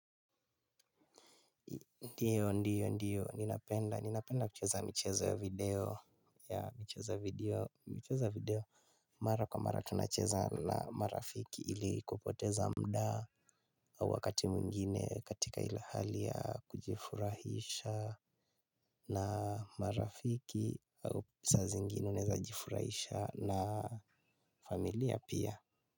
Ndiyo, ndiyo, ndiyo, ninapenda, ninapenda kucheza michezo ya video, ya michezo ya video, michezo ya video, mara kwa mara tunacheza na marafiki ili kupoteza mda au wakati mwingine katika ila hali ya kujifurahisha na marafiki au saa zingine unaeza jifurahisha na familia pia.